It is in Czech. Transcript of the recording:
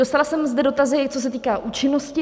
Dostala jsem zde dotazy, co se týká účinnosti.